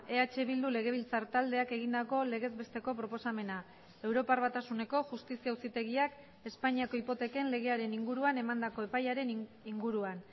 eh bildu legebiltzar taldeak egindako legez besteko proposamena europar batasuneko justizia auzitegiak espainiako hipoteken legearen inguruan emandako epaiaren inguruan